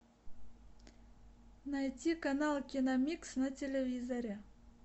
найти канал киномикс на телевизоре